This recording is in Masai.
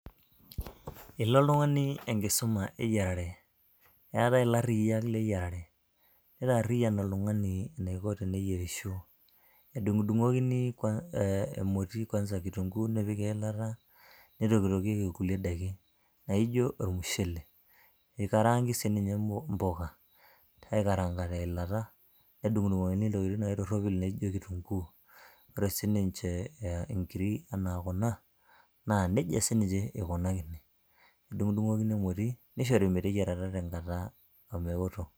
ilo oltung'ani enkisuma eyiarare eetae ilarriyiak leyiarare nitaarriyian oltung'ani eniko teneyierisho edung'udung'okini eh, emoti kwanza kitunguu nepiki eilata nitokitokieki kulie daiki naijo ormushele eikarangi sininye impuka aikaranga teilata nedung'udung'okini intokitin naitorropil naijo kitunguu ore sininche inkiri anaa kuna naa nejia siniche ikunakini edung'u dung'okini emoti nishori meteyiarata tenkata omeoto.